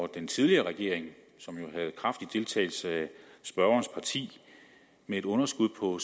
den tidligere regering som jo havde kraftig deltagelse af spørgerens parti med et underskud på